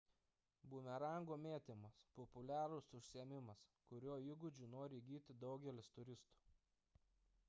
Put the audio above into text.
bumerango mėtymas – populiarus užsiėmimas kurio įgūdžių nori įgyti daugelis turistų